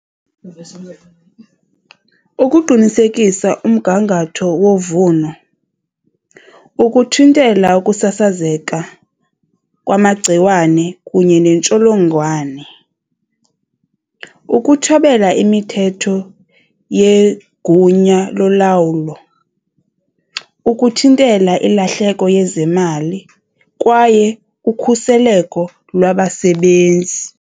Ukuqinisekisa umgangatho wovuno, ukuthintela ukusasazeka kwamagciwane kunye neentsholongwane, ukuthobela imithetho yegunya lolawulo, ukuthintela ilahleko yezemali kwaye ukhuseleko lwabasebenzi.